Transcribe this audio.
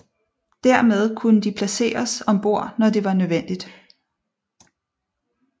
Dermed kunne de placeres om bord når det var nødvendigt